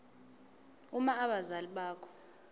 uma abazali bakho